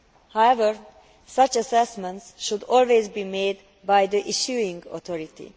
However, such assessments should always be made by the issuing authority.